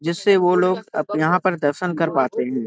जिससे वो लोग अप यहाँ पर दर्शन कर पाते हैं ।